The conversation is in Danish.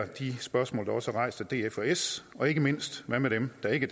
de spørgsmål der også er rejst af df og s og ikke mindst hvad med dem der ikke